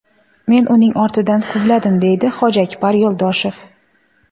Men uning ortidan quvladim”, deydi Hojiakbar Yo‘ldoshev.